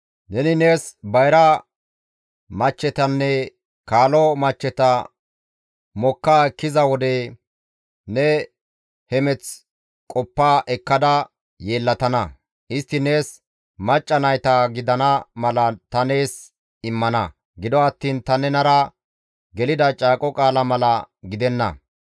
Neni nees bayra michchetanne kaalo michcheta mokka ekkiza wode ne hemeth qoppa ekkada yeellatana; istti nees macca nayta gidana mala ta nees immana; gido attiin ta nenara gelida caaqo qaala mala gidenna.